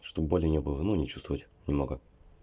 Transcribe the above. чтобы боли не было ну не чувствовать немного